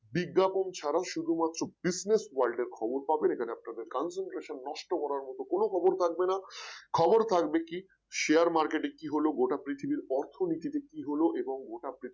বিজ্ঞাপন ছাড়াও শুধুমাত্র Business world এর খবর পাবেন এখানে আপনাদের সেন্ট concentration নষ্ট করার মত কোন খবর থাকবে না খবর থাকবে কি share market এ কি হলো পৃথিবীর অর্থনীতিতে কি হলো এবং গোটা পৃথিবীর